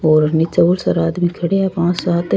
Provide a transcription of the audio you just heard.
और निचे बोला सारा आदमी खड़ा है पांच सात --